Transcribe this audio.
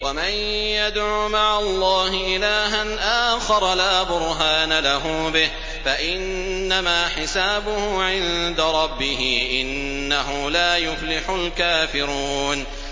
وَمَن يَدْعُ مَعَ اللَّهِ إِلَٰهًا آخَرَ لَا بُرْهَانَ لَهُ بِهِ فَإِنَّمَا حِسَابُهُ عِندَ رَبِّهِ ۚ إِنَّهُ لَا يُفْلِحُ الْكَافِرُونَ